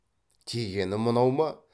тигені мынау ма